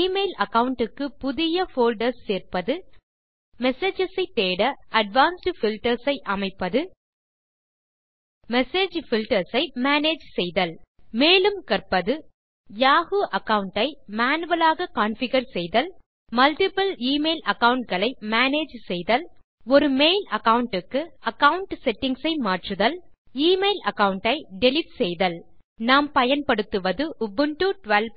email account க்கு புதிய folders சேர்ப்பது மெசேஜஸ் தேட அட்வான்ஸ்ட் பில்டர்ஸ் அமைப்பது மெசேஜ் பில்டர்ஸ் ஐ மேனேஜ் செய்தல் மேலும் கற்பது யாஹூ அகாவுண்ட் ஐ மேனுவல் ஆக கான்ஃபிகர் செய்தல் மல்ட்டிபிள் e மெயில் அகாவுண்ட் களை மேனேஜ் செய்தல் ஒரு மெயில் அகாவுண்ட் க்கு அகாவுண்ட் செட்டிங்ஸ் ஐ மாற்றுதல் எமெயில் அகாவுண்ட் ஐ டிலீட் செய்தல் நாம் பயன்படுத்துவது உபுண்டு 1204